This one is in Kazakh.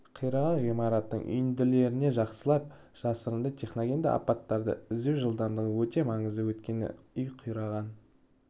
қираған ғимараттың үйінділеріне жақсылап жасырынды техногендік апаттарда іздеу жылдамдығы өте маңызды өйткені үй қираған